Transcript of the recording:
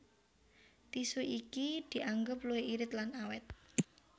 Tisu iki dianggep luwih irit lan awét